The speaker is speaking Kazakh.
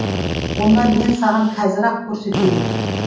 онда мен саған қазір ақ көрсетейін